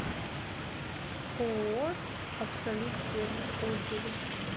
ооо абсолют сервис отзывы